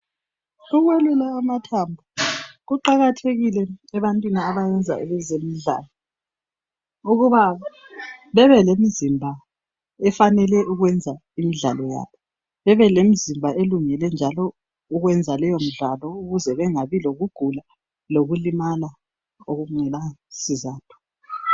Ukwelulwa kwamathambo kuqakathekile ebantwini abayenza ezemidlalo ukuba bebe lemizimba efanele ukwenza imidlalo yabo bebe lemizimba elungele njalo ukwenza leyo midlalo ukuze bengabi lokugula lokulimala okungelasizatho.